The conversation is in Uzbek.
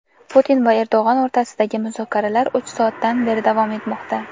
Putin va Erdo‘g‘on o‘rtasidagi muzokaralar uch soatdan beri davom etmoqda.